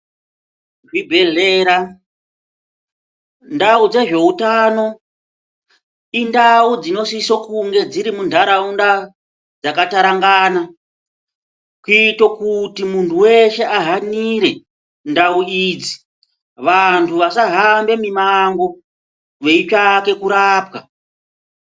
Zvibhedhlera, ndau dzezveutano, indau dzinosiso kunge dziri muntaraunda dzakatarangana, kuito kuti munhu weshe ahanire ndau idzi. Vantu vasahambe mimango veitsvake kurapwa.